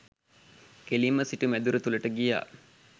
කෙළින්ම සිටු මැදුර තුළට ගියා.